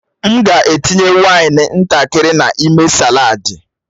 M ga-etinye waini ntakịrị n'ime saladi.